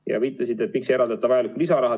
Te küsisite, miks ei eraldata vajalikku lisaraha.